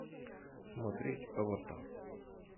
смотреть аватар